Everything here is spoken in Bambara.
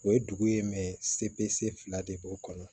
O ye dugu ye fila de b'o kɔnɔ